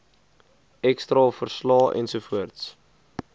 x straalverslae ensovoorts